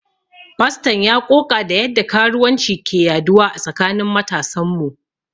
Faston ya ƙoƙa da yadda karuwanci ke yaduwa a tsakanin matasan mu.